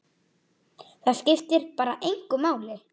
Það skiptir bara engu máli.